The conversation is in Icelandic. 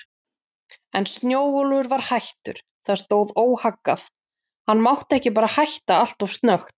En Snjólfur var hættur, það stóð óhaggað, hann mátti bara ekki hætta alltof snöggt.